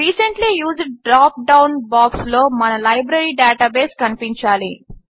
recently used drop down బాక్స్లో మన library database కనిపించాలి